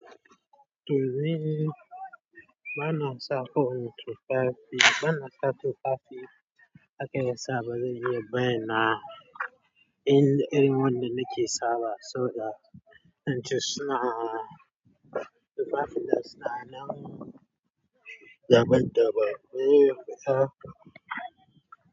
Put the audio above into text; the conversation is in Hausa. Toh ni bana sa kowani tufafi bana sa tufafi aka yasa ba zan iya bayyana in erin wanda nake sawa so da in ci suna tufafin nan suna nan daban-daban.